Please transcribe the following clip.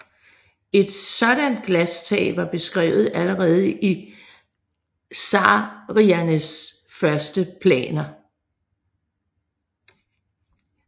Et sådan glastag var beskrevet allerede i Saarinens første planer